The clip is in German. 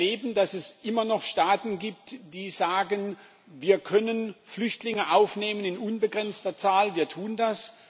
Wir erleben, dass es immer noch Staaten gibt, die sagen, wir können Flüchtlinge in unbegrenzter Zahl aufnehmen, wir tun das.